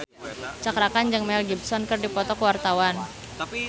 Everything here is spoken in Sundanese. Cakra Khan jeung Mel Gibson keur dipoto ku wartawan